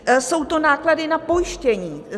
Jsou to náklady na pojištění.